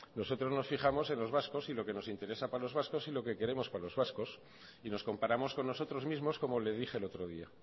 nosotros nos fijamos en los vascos y lo que nos interesa para los vascos y lo que queremos para los vascos y nos comparamos con nosotros mismos como le dije el otro día